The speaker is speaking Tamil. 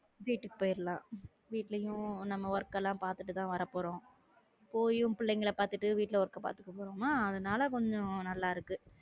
வீட்டுக்கு போயிரலாம் வீட்டுலயும் நம்ம work எல்லாம் பாத்துட்டுதான் வரப்போறோம் போயும் பிள்ளைங்களை பார்த்துட்டு வீட்டுல அதனால கொஞ்சம் நல்லா இருக்கு